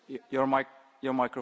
Panie Przewodniczący!